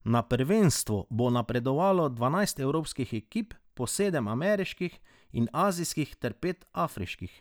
Na prvenstvo bo napredovalo dvanajst evropskih ekip, po sedem ameriških in azijskih ter pet afriških.